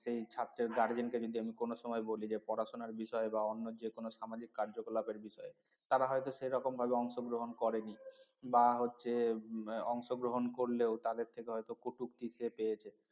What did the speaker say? সেই ছাত্রের guardian কে আমি যদি কোনো সময় বলি যে পড়াশোনার বিষয়ে বা অন্য যেকোনো সামাজিক কার্যকলাপের বিষয়ে তারা হয়তো সেরকম ভাবে অংশগ্রহণ করেনি বা হচ্ছে অংশগ্রহণ করলেও তাদের থেকে হয়তো কটূক্তি সে পেয়েছে